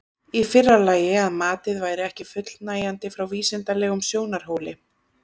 Í fyrra lagi að matið væri ekki fullnægjandi frá vísindalegum sjónarhóli.